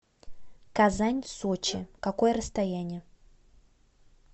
казань сочи какое расстояние